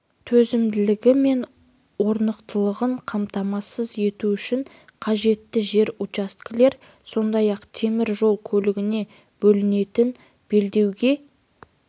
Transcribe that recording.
төзімділігі мен орнықтылығын қамтамасыз ету үшін қажетті жер учаскелер сондай-ақ темір жол көлігіне бөлінетін белдеуге